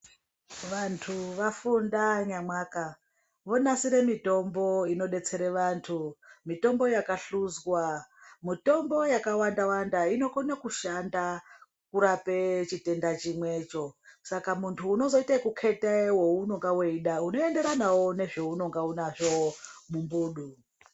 Vantu vafunda nyamwaka, vonasire mitombo inodetsere vantu, mitombo yakahluzwa. Mutombo yakawanda-wanda inokone kushanda kurape chitenda chimwecho. Saka muntu unozoite okukheta wounonga weida unoenderana nezvounonga unazvo mumbudu.